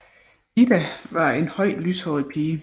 Ida var en høj lyshåret pige